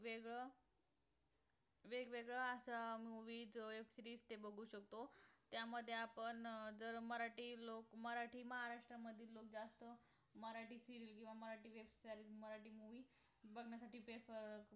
वेगवेगळं वेगवेगळं असं movies web series बघु शकतो त्यामध्ये आपण जर मराठी लोक मराठी मानस जरा जास्त मराठी serial किंवा मरठी movie बघण्यासाठी